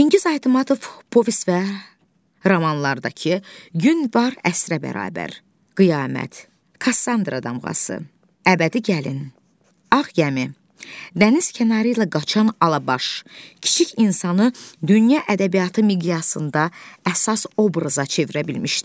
Çingiz Aytmatov povest və romanlardakı “Gün var əsrə bərabər”, “Qiyamət”, “Kassandra Damğası”, “Əbədi Gəlin”, “Ağ Gəmi”, “Dəniz kənarı ilə qaçan Alabaş” kiçik insanı dünya ədəbiyyatı miqyasında əsas obraza çevirə bilmişdir.